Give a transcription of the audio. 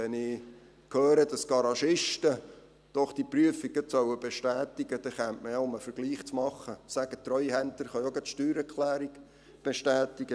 Wenn ich höre, dass die Garagisten diese Prüfung doch gerade bestätigen sollen, dann könnte man ja sagen – um einen Vergleich zu machen –, die Treuhänder könnten auch gerade die Steuererklärung bestätigen.